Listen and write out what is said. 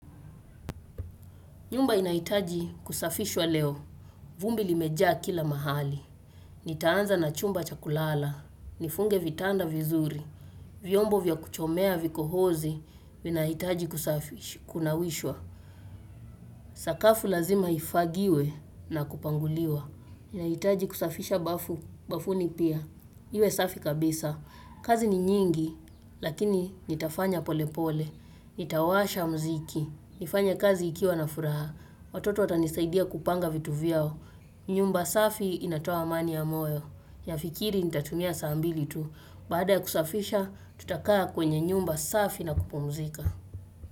Nyumba inahitaji kusafishwa leo. Vumbi limejaa kila mahali. Nitaanza na chumba chakulala. Nifunge vitanda vizuri. Vyombo vya kuchomea vikohozi, vinahitaji kusafishwa, kunawishwa. Sakafu lazima ifagiwe na kupanguliwa. Nahitaji kusafisha bafu, bafuni pia. Iwe safi kabisa. Kazi ni nyingi, lakini nitafanya pole pole. Nitawasha muziki. Nifanye kazi ikiwa na furaha. Watoto watanisaidia kupanga vitu vyao. Nyumba safi inatoa amani ya moyo. Nafikiri nitatumia saa mbili tu. Baada ya kusafisha, tutakaa kwenye nyumba safi na kupumzika.